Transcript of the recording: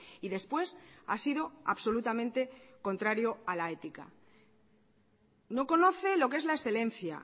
y después ha sido absolutamente contrario a la ética no conoce lo que es la excelencia